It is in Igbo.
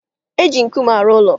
E ji nkume arụ ụlọ.